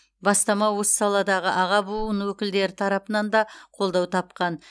бастама осы саладағы аға буын өкілдері тарапынан да қолдау тапқан